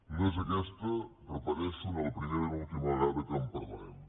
no és aquesta ho repeteixo ni la primera ni l’última vegada que en parlarem